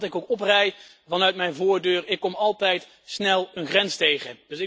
Welke kant ik ook oprijd vanaf mijn voordeur, ik kom altijd snel een grens tegen.